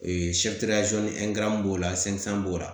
b'o la b'o la